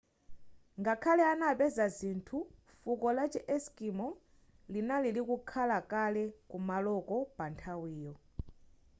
ngakhale anapeza zinthu fuko lachi eskimo linali likukhalakale kumaloko pa nthawiyo